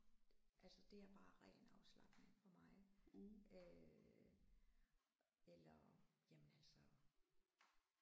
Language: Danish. Altså det er bare ren afslapning for mig øh eller jamen altså